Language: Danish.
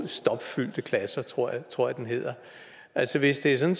stopfyldte klasser tror tror jeg den hedder altså hvis det er sådan